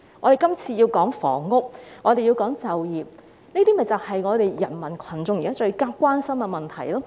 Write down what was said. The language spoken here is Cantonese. "我們今天談論房屋、就業，這些就是人民群眾現時最關心的問題。